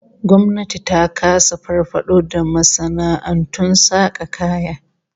Gwamnati ta kasa farfado da masana'antun saka kaya.